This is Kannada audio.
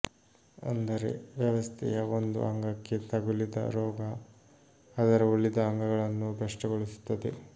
ಅಂದರೆ ವ್ಯವಸ್ಥೆಯ ಒಂದು ಅಂಗಕ್ಕೆ ತಗುಲಿದ ರೋಗ ಅದರ ಉಳಿದ ಅಂಗಗಳನ್ನೂ ಭ್ರಷ್ಟಗೊಳಿಸುತ್ತದೆ